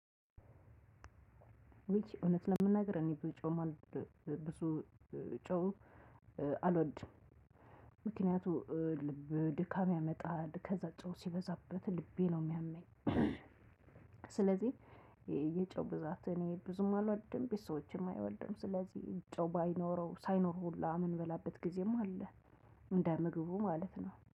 ውይ እውነት ለመናገር እኔ ብዙ ጨ ብ ብ ብዙ ጨው አልወድም። ምክንያቱም ልብ ድካም ያመጣል ከዛ ጨው ሲበዛበት ልቤ ነው የሚያመኝ። ስለዚህ የጨው ብዛት እኔ ብዙም አልወድም ቤተሰቦቼም አይወዱም። ስለዚህ ጨው ባይኖረው ሳይኖር ሁላ ምንበላበት ጊዜም አለ። እንደ ምግቡ ማለት ነው